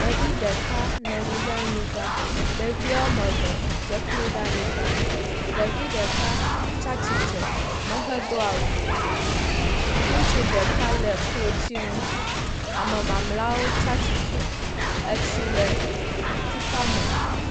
Ɖevi ɖeka nɔ nyi ɖe anyi agbã. Ɖeviwo ame eve dze klo ɖe anyi agbã. Ɖevi ɖeka tsatsitre mehɛ ɖo awu o. Ŋutsu ɖeka le klotsi nu. Ame mamlɛawo tsatsitre. Etsi le tukpa me.